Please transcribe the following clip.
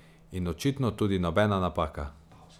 In očitno tudi nobena napaka.